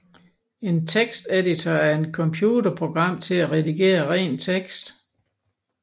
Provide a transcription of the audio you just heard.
En teksteditor er et computerprogram til at redigere ren tekst